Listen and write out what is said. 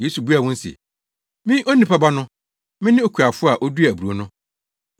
Yesu buaa wɔn se, “Me Onipa Ba no, mene okuafo a oduaa aburow no.